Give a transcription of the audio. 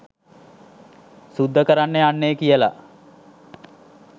සුද්ද කරන්න යන්නෙ කියලා.